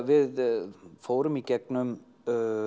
við fórum í gegnum